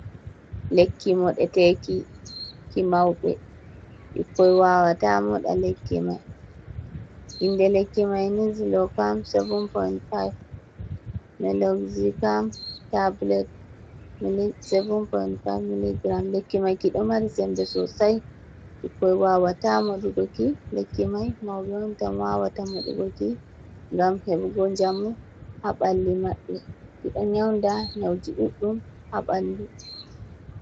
Lekki moɗeteeki ki mauɓe ɓikkon wawata moɗa lekki mai, inde lekki mai ni lofam 7.5